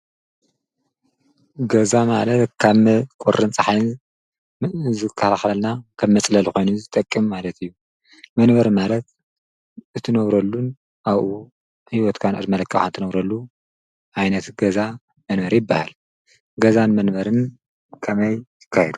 ገዛ ማለት ካብ ቖርን ፀሐን እ ዝካልሕለልና ከብ መጽለል ኾይኑ ዝጠቅም ማለት እዩ። መንበር ማለት እትነብረሉን ኣውኡ ሕይወትካን ዕድመለክ እንተነብረሉ ኣይነቲ ገዛ መንበር ኣ ይበሃል ገዛን መንበርን ከመይ ይካ የዱ?